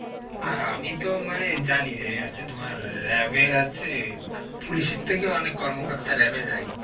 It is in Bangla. আর আমি তো মানে জানি যে হচ্ছে তোমার RAB এ হচ্ছে police এর থেকেও অনেক কর্মকর্তা RAB এ যায়.